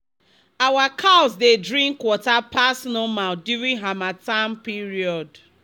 our cows dey drink water pass normal during harmattan period